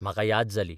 म्हाका याद जाली.